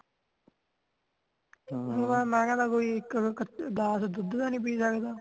ਮੈਂ ਕਹਿਣਾ ਕੋਈ (overlap) ਇਕ ਗਲਾਸ ਦੁੱਧ ਦਾ ਨੀ ਪੀ ਸਕਦਾ